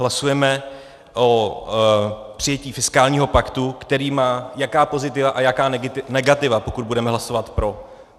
Hlasujeme o přijetí fiskálního paktu, který má jaká pozitiva a jaká negativa, pokud budeme hlasovat pro.